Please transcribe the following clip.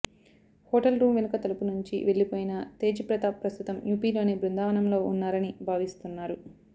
hotel room వెనుక తలుపు నుంచి వెళ్లిపోయిన తేజ్ ప్రతాప్ ప్రస్తుతం యూపీలోని బృందావనంలో ఉన్నారని భావిస్తున్నారు